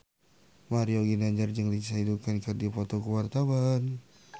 Mario Ginanjar jeung Lindsay Ducan keur dipoto ku wartawan